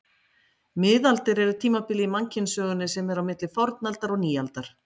Miðaldir er tímabilið í mannkynssögunni sem er á milli fornaldar og nýaldar.